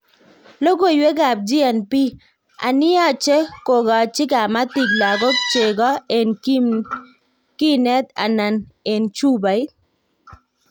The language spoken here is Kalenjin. Logoiwek ab GNB; anii yache kokachi kamatik logok chego en kinnet ana en chupait?